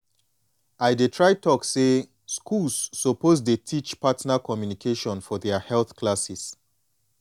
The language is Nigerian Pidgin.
i dey try talk say schools suppose dey teach partner communication for their health classes